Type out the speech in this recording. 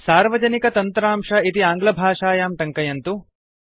सार्वजनिका तन्त्रांश इति आङ्ग्लभाषायां टङ्कयन्तु